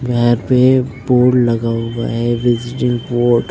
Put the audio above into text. यहां पे बोर्ड लगा हुआ है विजिटिंग बोर्ड --